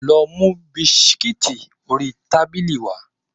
Lọ mú bisikíìtì ori tábìlì wá.